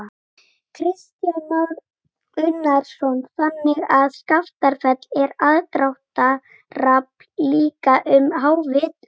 Kristján Már Unnarsson: Þannig að Skaftafell er aðdráttarafl líka um hávetur?